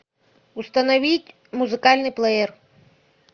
установить музыкальный плеер